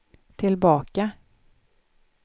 tillbaka